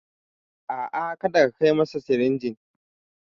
A'a, kada ka kai masa sirinjin.